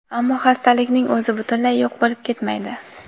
ammo xastalikning o‘zi butunlay yo‘q bo‘lib ketmaydi.